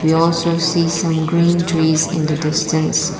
you are so see some green trees in the distance.